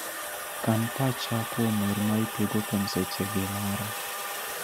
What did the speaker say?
Kan pacha kuom wer maitugo kuom sechegi mara